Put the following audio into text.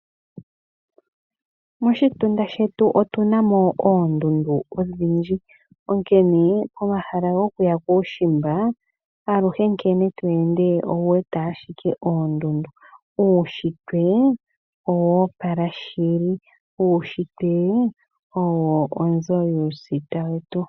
Moshitunda shetu otu na mo oondundu odhindji. Onkene omahala gokuya kuushimba aluhe nkene tweende owu wete ashike oondundu. Uushitwe owoopala shili. Uushitwe owo onzo yuusita wetu.